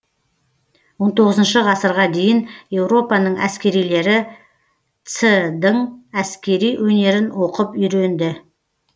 он тоғызыншы ғасырға дейін еуропаның әскерилері ц дың әскери өнерін оқып үйренді